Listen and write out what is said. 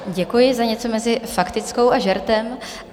Děkuji za něco mezi faktickou a žertem.